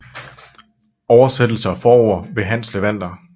Oversættelse og forord ved Hans Levander